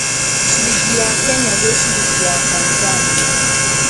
ciringi ya Kenya gwĩ ciringi ya Tanzania